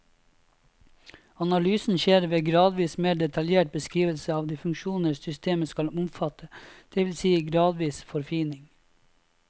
Analysen skjer ved gradvis mer detaljert beskrivelse av de funksjoner systemet skal omfatte, det vil si gradvis forfining.